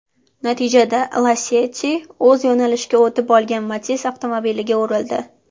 Natijada Lacetti o‘z yo‘nalishiga o‘tib olgan Matiz avtomobiliga urildi.